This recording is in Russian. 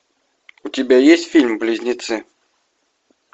у тебя есть фильм близнецы